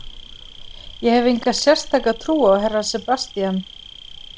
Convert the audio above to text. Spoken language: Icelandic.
Ég hef enga sérstaka trú á herra Sebastian.